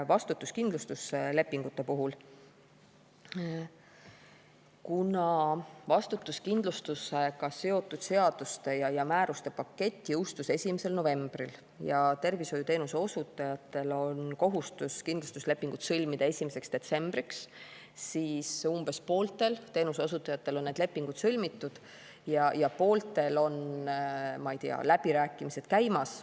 Vastutuskindlustuslepingute kohta niipalju, et kuna vastutuskindlustusega seotud seaduste ja määruste pakett jõustus 1. novembril ja tervishoiuteenuse osutajatel on kohustus kindlustuslepingud sõlmida 1. detsembriks, siis umbes pooltel teenuseosutajatel on need lepingud sõlmitud ja pooltel on, ma ei tea, läbirääkimised käimas.